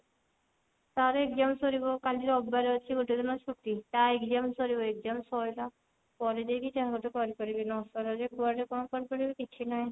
ତାର exam ସରିବ କାଲି ରବିବାର ଅଛି ଗୋଟେ ଦିନ ଛୁଟି ତା exam ସରିବ exam ସରିଲା ପରେ ଯାଇକି ଯାହା ଗୋଟେ କରିପାରିବି ନ ସରିଲା ଯାଏଁ କୁଆଡେ କଣ କରିପାରିବ କିଛିନାହିଁ